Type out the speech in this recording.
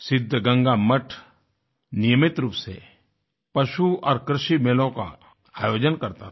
सिद्धगंगा मठ नियमित रूप से पशु और कृषि मेलों का आयोजन करता था